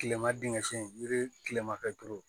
Kilema dingɛ sen ni kilema kɛ turu